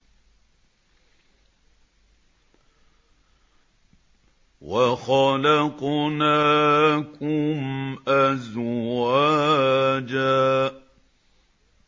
وَخَلَقْنَاكُمْ أَزْوَاجًا